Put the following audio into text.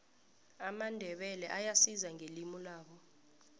amandebele ayazisa ngelimulabo